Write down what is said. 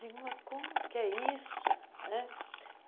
Digo, mas como que é isso? né